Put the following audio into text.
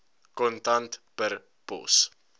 kontant per pos